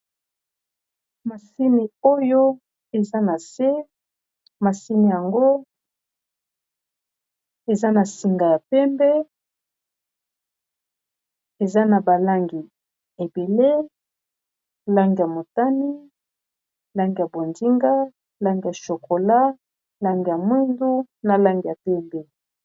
Masini oyo eza na se, masini ngo eza na singa ya pembe eza na balangi ebele langi ya motani, langi ya bonzinga, langi ya chokola, langi ya mwindu, na langi ya pembe.